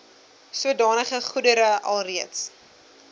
sodanige goedere alreeds